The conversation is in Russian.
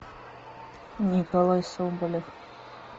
николай соболев